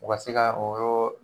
U ka se ka o yɔrɔ